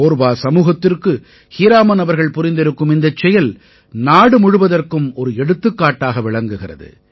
கோர்வா சமூகத்திற்கு ஹீராமன் அவர்கள் புரிந்திருக்கும் இந்தச் செயல் நாடு முழுவதற்கும் ஒரு எடுத்துக்காட்டாக விளங்குகிறது